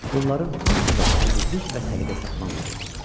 Bunların hamısında təmizlik və səliqə-səhman var idi.